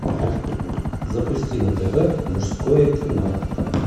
запусти на тв мужское кино